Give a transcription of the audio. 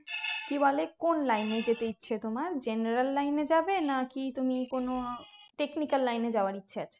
কি বলে কোন line এ যেতে ইচ্ছে তোমার general line এ যাবে নাকি তুমি কোনো technical line এ যাওয়ার ইচ্ছা আছে